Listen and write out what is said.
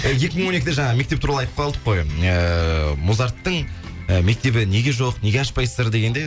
і екі мың он екіде жаңа мектеп туралы айтып қалдық қой ыыы музарттың і мектебі неге жоқ неге ашпайсыздар дегенде